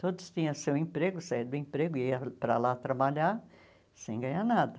Todos tinham seu emprego, saíam do emprego e iam para lá trabalhar sem ganhar nada.